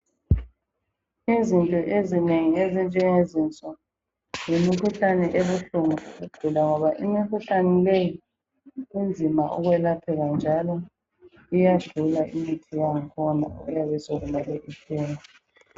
Izinto ezinengi ezinjenge zinso yimikhuhlane ebuhlungu ukugula ngoba imikhuhlane leyi inzima ukwelapheka, njalo iyadula imithi okuyabe sekumele ithengwe.